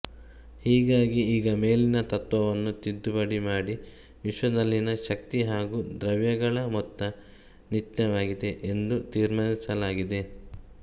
ಹೀಗಾಗಿ ಈಗ ಮೇಲಿನ ತತ್ತ್ವವನ್ನು ತಿದ್ದುಪಡಿ ಮಾಡಿ ವಿಶ್ವದಲ್ಲಿನ ಶಕ್ತಿ ಹಾಗೂ ದ್ರವ್ಯಗಳ ಮೊತ್ತ ನಿತ್ಯವಾಗಿದೆ ಎಂದು ತೀರ್ಮಾನಿಸಲಾಗಿದೆ